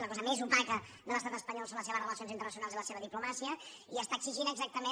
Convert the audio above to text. la cosa més opaca de l’estat espanyol són les seves relacions internacionals i la seva diplomàcia i exigeix exactament